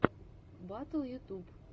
батл ютуб